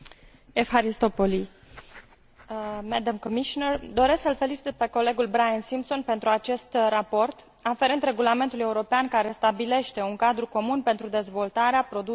Doresc să îl felicit pe colegul Brian Simpson pentru acest raport aferent Regulamentului european care stabilește un cadru comun pentru dezvoltarea, producerea și difuzarea statisticilor europene privind turismul.